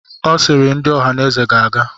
Ọ sịịrị, ndị Ohaneze ga-aga!